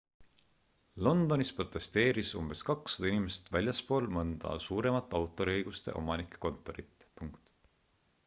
londonis protesteeris umbes 200 inimest väljaspool mõnda suuremat autoriõiguste omanike kontorit